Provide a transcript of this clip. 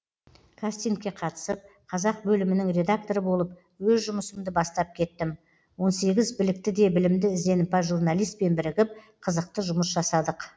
кастингке қатысып қазақ бөлімінің редакторы болып өз жұмысымды бастап кеттім он сегіз білікті де білімді ізденімпаз журналистпен бірігіп қызықты жұмыс жасадық